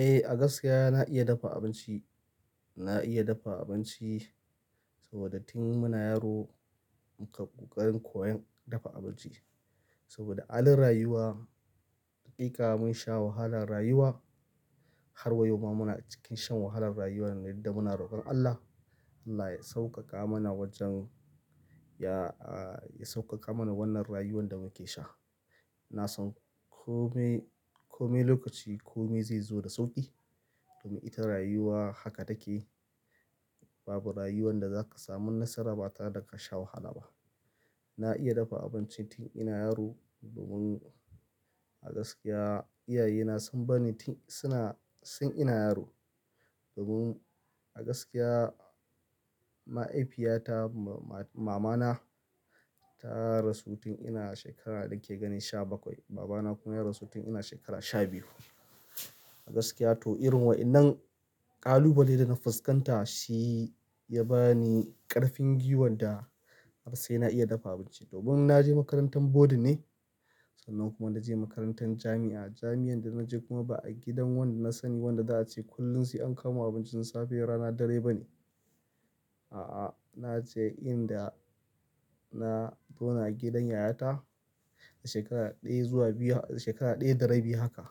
Eh, a gaskiya na iya dafa abinci. Na iya dafa abinci saboda tin muna yaro muka kokari koyan dafa abinci. Saboda halin rayuwa, hakika mun sha wahalan rayuwa. Har wa yau ma muna cikin shan wahalan rayuwa nan da muna rokon Allah. Allah ya sauƙaƙa mana wajen ya, ya sauƙaƙa mana wannan rayuwan da muke sha. Na san kome, kome lokaci kome zai zo da sauƙi. Domin ita rayuwa haka take. Babu rayuwan da zaka samu nasara ba tare da ka sha wahala ba. Na iya dafa abinci tin ina yaro domin a gaskiya, iyaye na sun bani tin suna, sun ina yaro. Domin a gaskiya mahaifinta mamana ta rasu tun ina shekara nake ganin sha bakwai. Baba na kuma ya rasu tin ina shekara sha biyu. A gaskiya to irin wa'innan ƙalubale da na fuskanta shi ya bani ƙarfin giwan da har sai na iya dafa abinci. Domin na je makarantan boarding ne. Sannan kuma na je makarantan jami'a. Jami'an da na je kuma ba a gidan wanda na sani wanda za a ce kullum sai an kama abincin safe rana dare ba ne. A'a, na je inda na zauna gidan yayata shekara ɗaya zuwa biyu, shekara ɗaya da rabi haka.